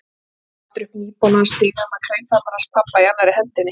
Hleyp svo aftur upp nýbónaðan stigann með klaufhamarinn hans pabba í annarri hendinni.